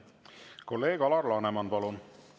Kolleeg Alar Laneman, palun!